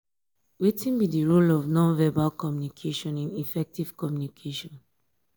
wetin be di role of non-verbal communication in effective communication?